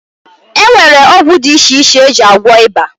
E nwere ọgwụ dị iche iche e ji agwọ ịba